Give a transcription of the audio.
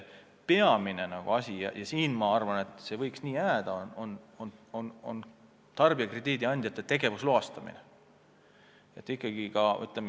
Peamine vahend – ja ma arvan, et see võiks nii jääda – on tarbijakrediidi andjate tegevusloastamine.